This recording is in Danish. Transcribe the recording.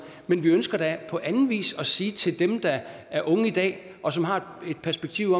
men vi ønsker da på anden vis at sige til dem der er unge i dag og som har det perspektiv